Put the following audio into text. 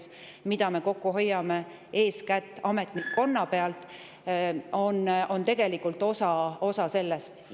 See, mida me kokku hoiame eeskätt ametnikkonna pealt, on tegelikult osa sellest.